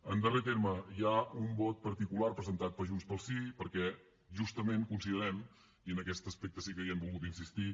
en darrer terme hi ha un vot particular presentat per junts pel sí perquè justament considerem i en aquest aspecte sí que hi hem volgut insistir